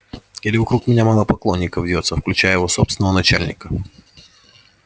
или вокруг меня мало поклонников вьётся включая его собственного начальника